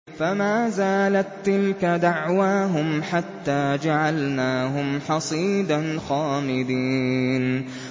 فَمَا زَالَت تِّلْكَ دَعْوَاهُمْ حَتَّىٰ جَعَلْنَاهُمْ حَصِيدًا خَامِدِينَ